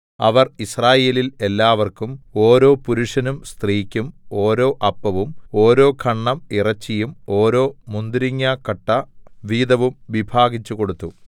അവൻ യിസ്രായേലിൽ എല്ലാവർക്കും ഓരോ പുരുഷനും സ്ത്രീക്കും ഓരോ അപ്പവും ഓരോ ഖണ്ഡം ഇറച്ചിയും ഓരോ മുന്തിരിങ്ങാക്കട്ട വീതവും വിഭാഗിച്ചു കൊടുത്തു